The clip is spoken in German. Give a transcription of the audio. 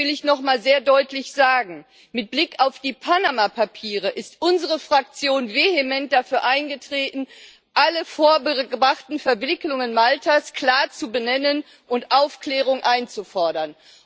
Deshalb will ich nochmal sehr deutlich sagen Mit Blick auf die Panama Papiere ist unsere Fraktion vehement dafür eingetreten, alle vorgebrachten Verwicklungen Maltas klar zu benennen und Aufklärung einzufordern.